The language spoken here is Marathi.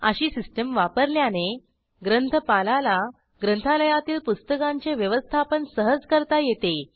अशी सिस्टीम वापरल्याने ग्रंथपालाला ग्रंथालयातील पुस्तकांचे व्यवस्थापन सहज करता येते